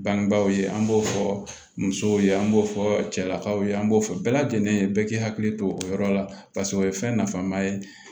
Bangebaaw ye an b'o fɔ musow ye an b'o fɔ cɛlakaw ye an b'o fɔ bɛɛ lajɛlen ye bɛɛ k'i hakili to o yɔrɔ la paseke o ye fɛn nafama ye